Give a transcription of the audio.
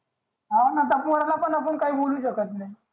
हा आता त्या पोराला आपण काही बोलू शकत नाही